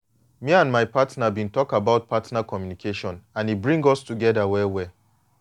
me and my partner been talk about partner communication and e bring us together well well.